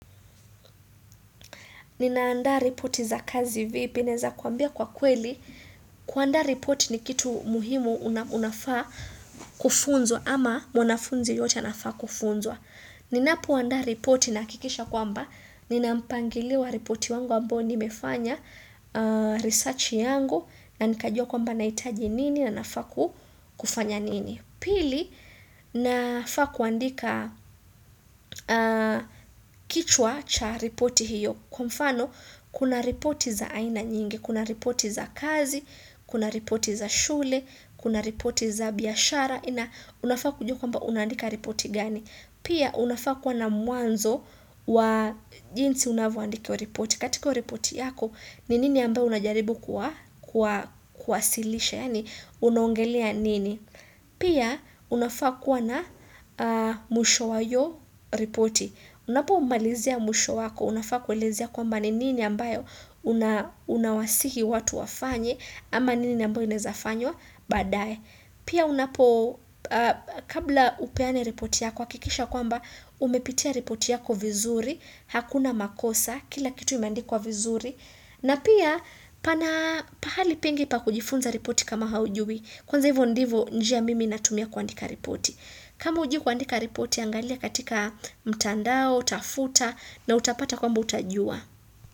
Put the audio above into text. Ninaanda ripoti za kazi vipi, naweza kuambia kwa kweli. Kuandaa ripoti ni kitu muhimu unafaa kufunzwa ama mwanafunzi yote anafaa kufunzwa. Ninapoandaa ripoti nahakikisha kwamba. Nina mpangilio ripoti wangu ambayo nimefanya research yangu na nikajua kwamba nahitaji nini na nafaa kufanya nini. Pili nafaa kuandika kichwa cha reporti hiyo. Kwa mfano, kuna ripoti za aina nyingi, kuna ripoti za kazi, kuna ripoti za shule, kuna ripoti za biashara, unafaa kujua kwamba unaandika ripoti gani. Pia, unafaa kuwa na mwanzo wa jinsi unavyoandika ripoti. Katika ripoti yako, ni nini ambayo unajaribu kuwasilisha, yaani unaongelea nini. Pia, unafaa kuwa na mwisho wa hiyo ripoti. Unapomalizia mwisho yako, unafaa kuelezea kwamba nini ambayo unawasihi watu wafanye ama nini ambayo inezafanywa baadae. Pia unapo kabla upeane ripoti yako, hakikisha kwamba umepitia ripoti yako vizuri, hakuna makosa, kila kitu imeandikwa vizuri. Na pia, pahali pengi pa kujifunza ripoti kama haujui, kwanza hivyo ndivo njia mimi natumia kuandika ripoti. Kama hujui kuandika ripoti angalia katika mtandao, tafuta na utapata kwamba utajua.